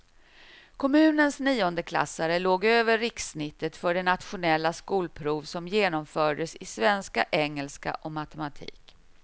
Kommunens niondeklassare låg över rikssnittet för det nationella skolprov som genomfördes i svenska, engelska och matematik.